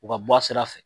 U ka bɔ a sira fɛ